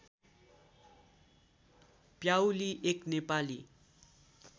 प्याउली एक नेपाली